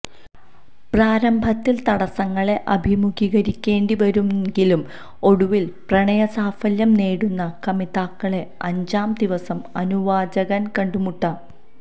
പ്രാരംഭത്തിൽ തടസ്സങ്ങളെ അഭിമുഖീകരിക്കേണ്ടിവരുന്നെങ്കിലും ഒടുവിൽ പ്രണയസാഫല്യം നേടുന്ന കമിതാക്കളെ അഞ്ചാം ദിവസം അനുവാചകന് കണ്ടുമുട്ടാം